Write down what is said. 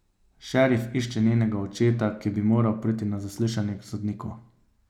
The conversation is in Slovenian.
Šerif išče njenega očeta, ki bi moral priti na zaslišanje k sodniku.